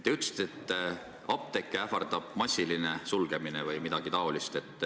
Te ütlesite, et apteeke ähvardab massiline sulgemine või midagi taolist.